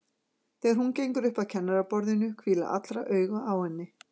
Þegar hún gengur upp að kennaraborðinu hvíla allra augu á henni.